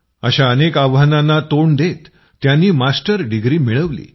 अशा अनेक आव्हानांना तोंड देत त्यांनी मास्टर डिग्री मिळवली